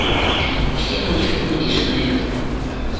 все мультфильмы диснея